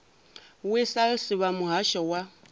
h wessels vha muhasho wa